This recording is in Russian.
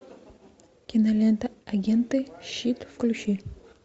кинолента агенты щит включи